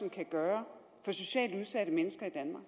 kan gøre for socialt udsatte mennesker i danmark